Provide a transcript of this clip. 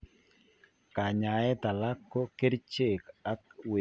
Kanyaeet alak ko kercheek ak wekunet ab sumeek